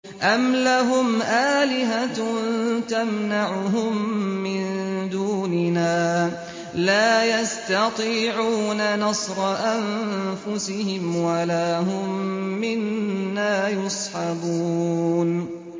أَمْ لَهُمْ آلِهَةٌ تَمْنَعُهُم مِّن دُونِنَا ۚ لَا يَسْتَطِيعُونَ نَصْرَ أَنفُسِهِمْ وَلَا هُم مِّنَّا يُصْحَبُونَ